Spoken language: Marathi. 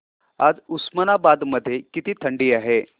आज उस्मानाबाद मध्ये किती थंडी आहे